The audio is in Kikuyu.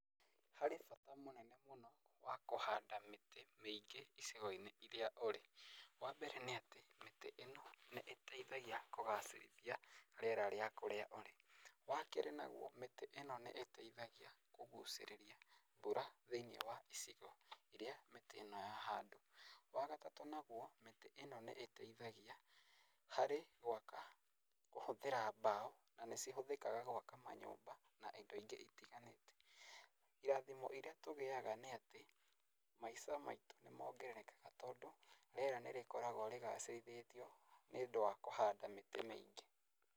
Harĩ bata mũnene mũno, wa kũhanda mĩtĩ mĩingĩ icigo-inĩ iria ũrĩ. Wa mbere nĩ atĩ, mĩtĩ ino nĩ ĩteĩthagia kũgacĩrithia rĩera rĩa kũrĩa ũrĩ. Wa kerĩ nagwo, mĩtĩ ĩno nĩ ĩteithagia kũgũcĩrĩria mbura thĩiniĩ wa icigo iria mĩtĩ ĩno yahandwo. Wa gatatũ nagwo, mĩtĩ ĩno nĩ ĩteithagia, harĩ gwaka kũhũthĩra mbaũ, na nĩ cihũthĩkaga gwaka manyũmba, na indo ingĩ itiganĩte. Irathimo iria tũgĩaga nĩ atĩ, maica nĩ mongererekaga tondũ rĩera nĩ rĩkoragwo rĩgacĩrithĩtio, nĩũndũ wa kũhanda mĩtĩ mĩingĩ.